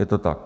Je to tak.